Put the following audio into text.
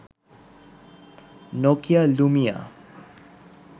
Nokia Lumia